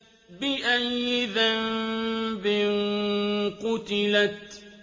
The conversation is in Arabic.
بِأَيِّ ذَنبٍ قُتِلَتْ